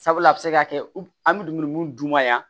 Sabula a bɛ se ka kɛ an bɛ dumuni duman yan